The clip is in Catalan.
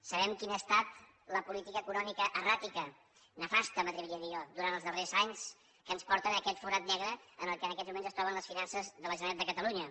sabem quina ha estat la política econòmica erràtica nefasta m’atreviria a dir jo durant els darrers anys que ens porta en aquest forat negre en què en aquests moments es troben les finances de la generalitat de catalunya